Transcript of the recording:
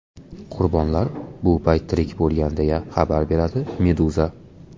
Qurbonlar bu payt tirik bo‘lgan, deya xabar beradi Meduza.